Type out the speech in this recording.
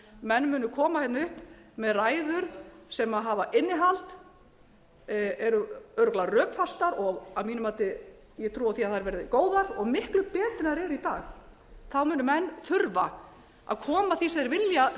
menn munu koma upp með ræður sem hafa innihald eru örugglega rökfastar og að mínu mati ég trúi því að þær verði góðar og miklu betri en þær eru í dag þá munu menn þurfa að koma því sem þeir vilja